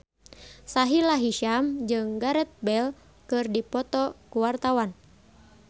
Sahila Hisyam jeung Gareth Bale keur dipoto ku wartawan